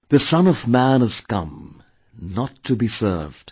The Son of Man has come, not to be served